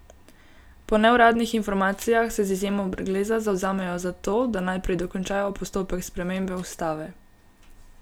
Po neuradnih informacijah se z izjemo Brgleza zavzemajo za to, da najprej dokončajo postopek spremembe ustave.